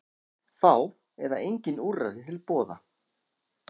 Fá eða engin úrræði til boða